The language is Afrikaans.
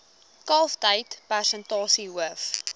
kalftyd persentasie hoof